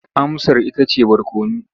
Amsar ita ce barkono.